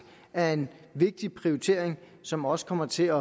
er en vigtig prioritering og som også kommer til